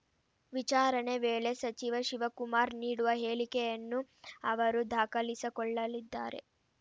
ವಿಚಾರಣೆ ವೇಳೆ ಸಚಿವ ಶಿವಕುಮಾರ್‌ ನೀಡುವ ಹೇಳಿಕೆಯನ್ನು ಅವರು ದಾಖಲಿಸಕೊಳ್ಳಲಿದ್ದಾರೆ